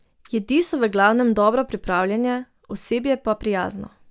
Jedi so v glavnem dobro pripravljene, osebje pa prijazno.